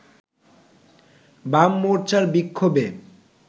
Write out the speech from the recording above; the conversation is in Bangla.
বাম মোর্চার বিক্ষোভে